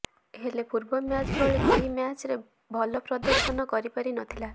ହେଲେ ପୂର୍ବ ମ୍ୟାଚ ଭଳି ଏହି ମ୍ୟାଚରେ ଭଲ ପ୍ରଦର୍ଶନ କରିପାରିନଥିଲା